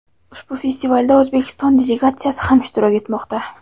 ushbu festivalda O‘zbekiston delegatsiyasi ham ishtirok etmoqda.